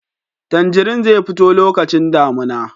Tanjari zai fito lokacin damina